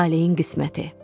Taleyin qisməti.